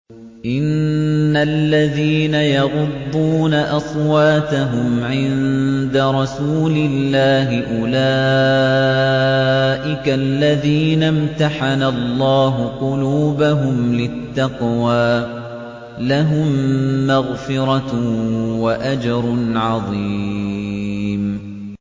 إِنَّ الَّذِينَ يَغُضُّونَ أَصْوَاتَهُمْ عِندَ رَسُولِ اللَّهِ أُولَٰئِكَ الَّذِينَ امْتَحَنَ اللَّهُ قُلُوبَهُمْ لِلتَّقْوَىٰ ۚ لَهُم مَّغْفِرَةٌ وَأَجْرٌ عَظِيمٌ